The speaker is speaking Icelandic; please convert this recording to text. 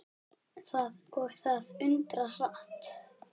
Og það undra hratt.